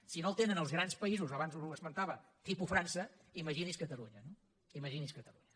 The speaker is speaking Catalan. si no el tenen els grans països abans ho esmentava tipus frança imagini’s catalunya no imagini’s catalunya